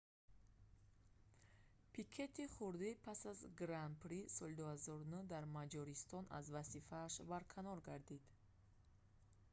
пикети хурдӣ пас аз гран-прии соли 2009 дар маҷористон аз вазифааш барканор гардид